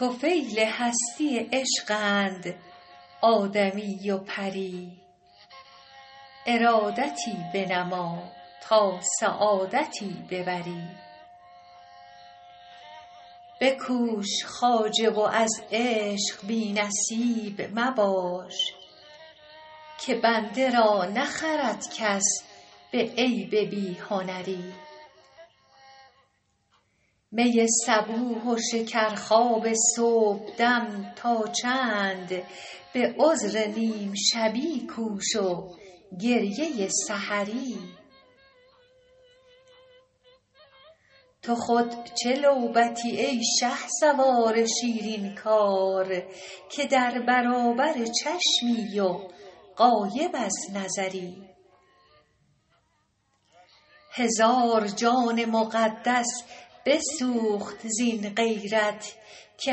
طفیل هستی عشقند آدمی و پری ارادتی بنما تا سعادتی ببری بکوش خواجه و از عشق بی نصیب مباش که بنده را نخرد کس به عیب بی هنری می صبوح و شکرخواب صبحدم تا چند به عذر نیم شبی کوش و گریه سحری تو خود چه لعبتی ای شهسوار شیرین کار که در برابر چشمی و غایب از نظری هزار جان مقدس بسوخت زین غیرت که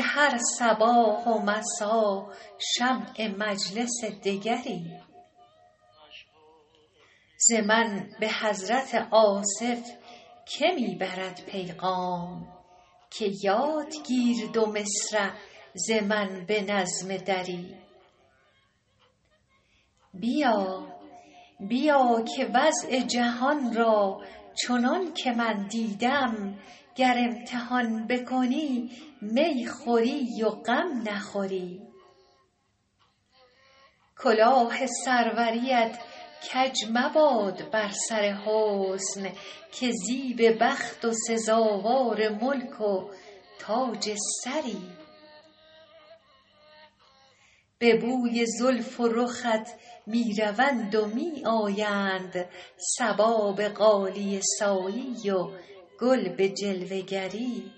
هر صباح و مسا شمع مجلس دگری ز من به حضرت آصف که می برد پیغام که یاد گیر دو مصرع ز من به نظم دری بیا که وضع جهان را چنان که من دیدم گر امتحان بکنی می خوری و غم نخوری کلاه سروریت کج مباد بر سر حسن که زیب بخت و سزاوار ملک و تاج سری به بوی زلف و رخت می روند و می آیند صبا به غالیه سایی و گل به جلوه گری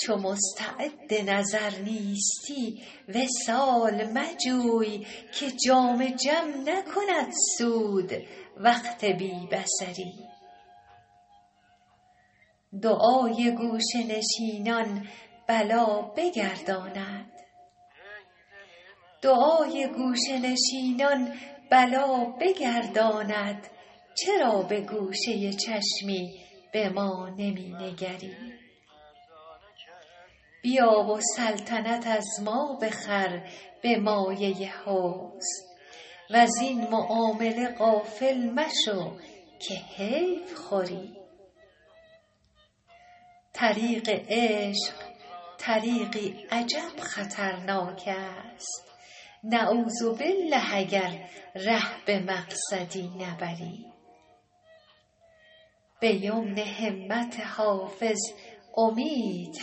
چو مستعد نظر نیستی وصال مجوی که جام جم نکند سود وقت بی بصری دعای گوشه نشینان بلا بگرداند چرا به گوشه چشمی به ما نمی نگری بیا و سلطنت از ما بخر به مایه حسن وزین معامله غافل مشو که حیف خوری طریق عشق طریقی عجب خطرناک است نعوذبالله اگر ره به مقصدی نبری به یمن همت حافظ امید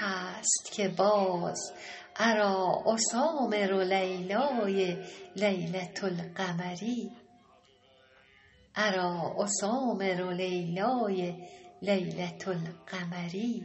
هست که باز اریٰ اسامر لیلای لیلة القمری